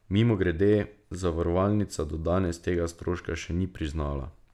Mimogrede, zavarovalnica do danes tega stroška še ni priznala ...